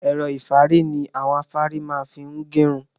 Ẹ̀rọ-ìfárí ni àwọn afárí má fi ń gẹ irun.